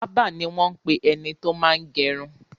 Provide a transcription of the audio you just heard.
Bábà ni wọ́n ń pe ẹni tó máa ń gẹrun.